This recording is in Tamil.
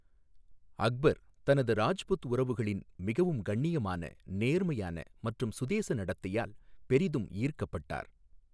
அக்பர், தனது ராஜ்புத் உறவுகளின் மிகவும் கண்ணியமான, நேர்மையான மற்றும் சுதேச நடத்தையால் பெரிதும் ஈர்க்கப்பட்டார்.